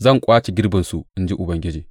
Zan ƙwace girbinsu, in ji Ubangiji.